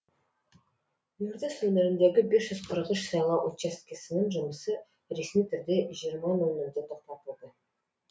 ертіс өңіріндегі бес жүз қырық үш сайлау учаскесінің жұмысы ресми түрде жиырма нөл нөлде тоқтатылды